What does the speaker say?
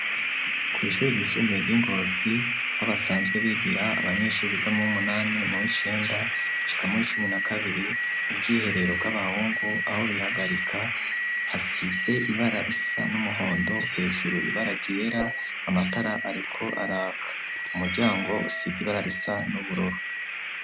Kw'ishure ryisumbuye ry'i Ngozi aho basanzwe bigira abanyeshure biga m'uwumunani m'uwicenda bashika muri cumi na kabiri, ubwiherero bw'abahungu aho bihagarika hasize ibara risa n'umuhondo hejuru ibara ryera amatara ariko araka, umuryango usize ibara risa n'ubururu.